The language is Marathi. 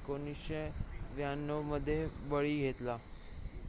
1992 मध्ये बळी घेतला